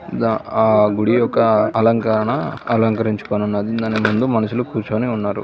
ఆ గుడి యొక్క అలంకరణ అలంకరించుకోనది దాని ముందు మనుషులు కూర్చొని ఉన్నారు.